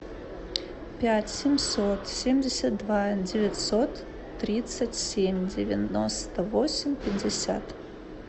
пять семьсот семьдесят два девятьсот тридцать семь девяносто восемь пятьдесят